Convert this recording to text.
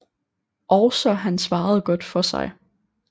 Også han svarede godt for sig